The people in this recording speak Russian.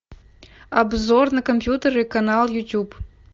обзор на компьютеры канал ютуб